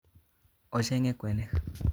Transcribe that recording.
Ochenge kwenik